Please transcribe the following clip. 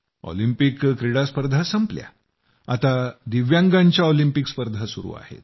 Olympic क्रीडा स्पर्धा संपल्या आता दिव्यांगांच्या ऑलिपिंक स्पर्धा सुरू आहेत